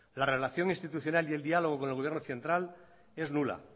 la relación institucional y el diálogo con el gobierno central es nula